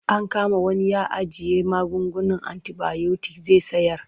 An kama wani ya ajiye magungunan antibayotik zai sayar.